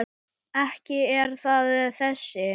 Ekki er það þessi.